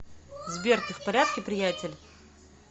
сбер ты в порядке приятель